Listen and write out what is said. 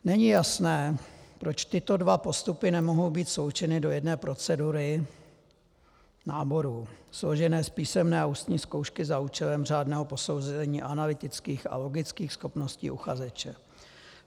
Není jasné, proč tyto dva postupy nemohou být sloučeny do jedné procedury náboru složené z písemné a ústní zkoušky za účelem řádného posouzení analytických a logických schopností uchazeče.